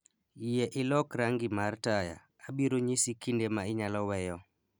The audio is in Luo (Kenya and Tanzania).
Yie ilok rangi mar taya, abiro nyisi kinde ma inyalo weyo